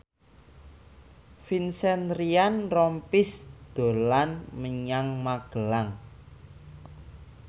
Vincent Ryan Rompies dolan menyang Magelang